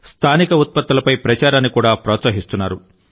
స్థానిక ఉత్పత్తులపై ప్రచారాన్ని కూడా ప్రోత్సహిస్తున్నారు